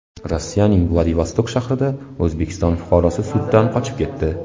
Rossiyaning Vladivostok shahrida O‘zbekiston fuqarosi suddan qochib ketdi.